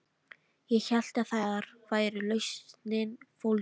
Ég hélt að þar væri lausnin fólgin.